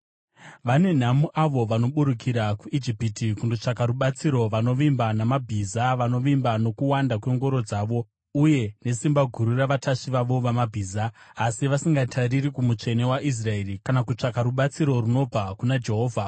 Vane nhamo avo vanoburukira kuIjipiti kundotsvaka rubatsiro, vanovimba namabhiza, vanovimba nokuwanda kwengoro dzavo uye nesimba guru ravatasvi vavo vamabhiza, asi vasingatariri kuMutsvene waIsraeri, kana kutsvaka rubatsiro runobva kuna Jehovha.